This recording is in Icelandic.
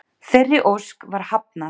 Þeirri ósk var hafnað